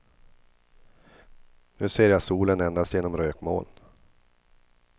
Nu ser jag solen endast genom rökmoln.